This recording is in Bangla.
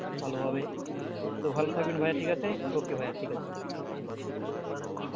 ভালো ভাবে তো ভালো থাকবেন ভাইয়া ঠিক আছে okay ভাইয়া ঠিক আছে।